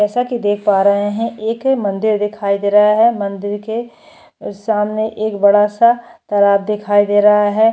जैसा की देख पा रहे हैं एक मंदिर दिखाई दे रहा है। मंदिर के सामने एक बड़ा सा तालाब दिखाई दे रहा है।